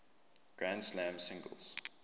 grand slam singles